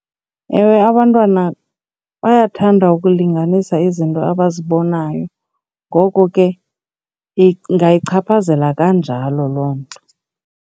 Ewe, abantwana bayathanda ukulinganisa izinto abazibonayo, ngoko ke ingayichaphazela kanjalo loo nto.